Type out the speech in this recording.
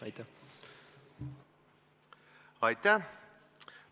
Aitäh!